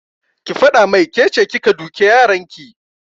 Ki faɗa mai kece kika duke yaran ki!